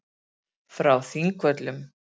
Frá Þingvöllum.